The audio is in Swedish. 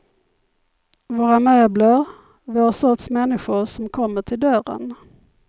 Våra möbler, vår sorts människor som kommer till dörren.